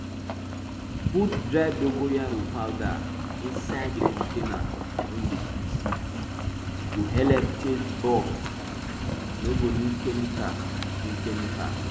put dry dogoyaro powder insai di container wey you dey keep seed e go helep chase bug you no go need chemical need chemical